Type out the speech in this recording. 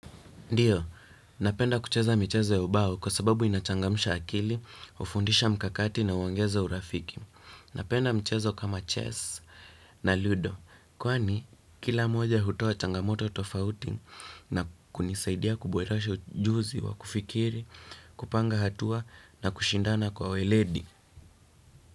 Ndiyo, napenda kucheza michezo ya ubao kwa sababu inachangamsha akili, hufundisha mkakati na huongeza urafiki. Napenda mchezo kama chess na ludo. Kwani, kila moja hutoa changamoto tofauti na kunisaidia kuboresha ujuzi wa kufikiri, kupanga hatua na kushindana kwa weledi.